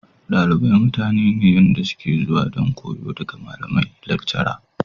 Dalibai mutane ne da suke zuwa don koyo daga malamai/lactura.